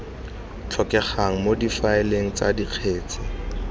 tlhokegang mo difaeleng tsa dikgetse